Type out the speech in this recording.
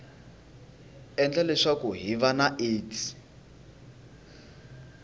endla leswaku hiv na aids